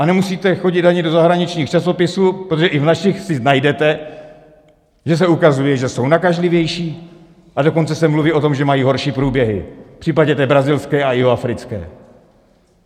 A nemusíte chodit ani do zahraničních časopisů, protože i v našich si najdete, že se ukazuje, že jsou nakažlivější, a dokonce se mluví o tom, že mají horší průběh v případě té brazilské a jihoafrické.